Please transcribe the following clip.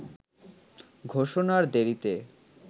ঘোষণার দেরিতে